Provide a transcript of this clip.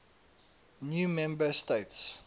new member states